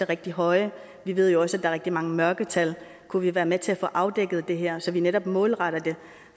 rigtig høje vi ved jo også at er rigtig mange mørketal kunne vi være med at få afdækket det her så vi netop målretter det